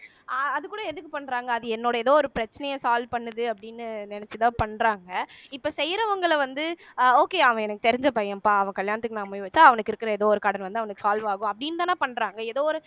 ஆஹ் அது கூட எதுக்கு பண்றாங்க அது என்னோட ஏதோ ஒரு பிரச்சனைய solve பண்ணுது அப்படின்னு நினைச்சுதான் பண்றாங்க இப்ப செய்யறவங்களை வந்து அஹ் okay அவன் எனக்கு தெரிஞ்ச பையன்ப்பா அவன் கல்யாணத்துக்கு நான் மொய் வச்சா அவனுக்கு இருக்கிற ஏதோ ஒரு கடன் வந்து அவனுக்கு solve ஆகும் அப்படீன்னு தானே பண்றாங்க ஏதோ ஒரு